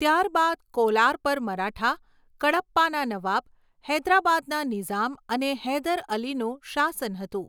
ત્યારબાદ કોલાર પર મરાઠા, કડપ્પાના નવાબ, હૈદરાબાદના નિઝામ અને હૈદર અલીનું શાસન હતું.